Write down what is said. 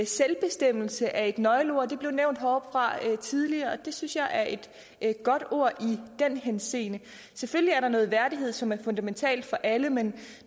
selvbestemmelse er et nøgleord det blev nævnt heroppe fra tidligere og det synes jeg er et godt ord i den henseende selvfølgelig er der noget værdighed som er fundamental for alle men